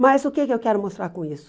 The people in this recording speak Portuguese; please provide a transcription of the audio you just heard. Mas o que eu quero mostrar com isso?